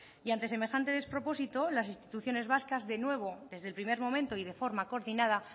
y ante semejante despropósito las instituciones vascas de nuevo desde el primer momento y de forma coordinada